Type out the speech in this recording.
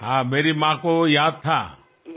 అవును అమ్మకు గుర్తు ఉంది